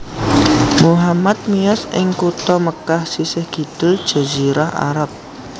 Muhammad miyos ing kutha Mekkah sisih kidul Jazirah Arab